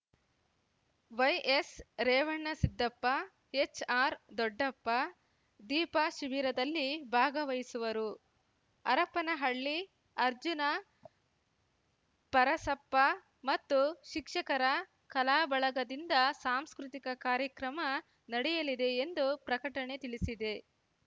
ವೈಎಸ್‌ರೇವಣಸಿದ್ದಪ್ಪ HR ದೊಡ್ಡಪ್ಪ ದೀಪಾ ಶಿಬಿರದಲ್ಲಿ ಭಾಗವಹಿಸುವರು ಹರಪನಹಳ್ಳಿ ಅರ್ಜುನ ಪರಸಪ್ಪ ಮತ್ತು ಶಿಕ್ಷಕರ ಕಲಾಬಳಗದಿಂದ ಸಾಂಸ್ಕೃತಿಕ ಕಾರ್ಯಕ್ರಮ ನಡೆಯಲಿದೆ ಎಂದು ಪ್ರಕಟಣೆ ತಿಳಿಸಿದೆ